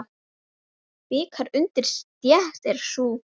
Bikar undir stétt er sú.